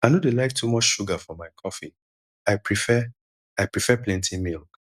i no dey like too much sugar for my coffee i prefare i prefare plenty milk